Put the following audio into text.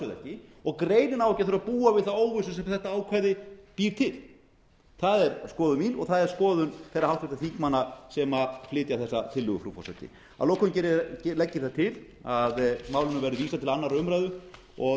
ekki og greinin á ekki að þurfa að búa við þá óvissu sem þetta ákvæði býr til það er skoðun mín og það er skoðun þeirra háttvirtra þingmanna sem flytja þessa tillögu frú forseti að lokum legg ég það til að málinu verði vísað til annarrar umræðu og